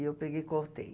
E eu peguei e cortei.